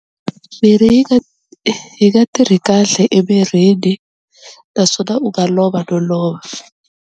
Mirhi yi nga yi nga tirhi kahle emirini naswona u nga lova no lova.